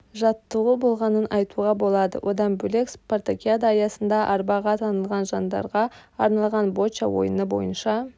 жаттығу болғанын айтуға болады одан бөлек спартакиада аясында арбаға танылған жандарға арналған боча ойыны бойынша